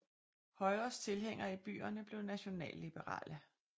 Højres tilhængere i byerne blev nationalliberale